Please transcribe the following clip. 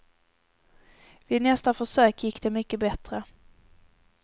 Vid nästa försök gick det mycket bättre.